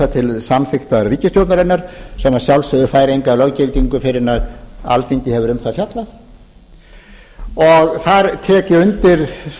til samþykktar ríkisstjórnarinnar sem að sjálfsögðu fær enga löggildingu fyrr en alþingi hefur um það fjallað þar tek ég undir